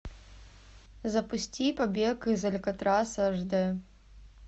запусти побег из алькатраса аш д